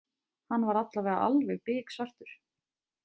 Hann var allavega alveg biksvartur.